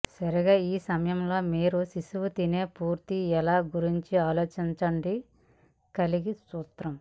సరిగ్గా ఈ సమయంలో మీరు శిశువు తినే పూర్తి ఎలా గురించి ఆలోచించడం కలిగి సూత్రం